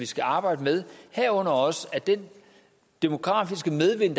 skal arbejdes med herunder også at den demografiske medvind